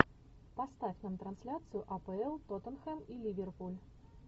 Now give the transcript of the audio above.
поставь нам трансляцию апл тоттенхэм и ливерпуль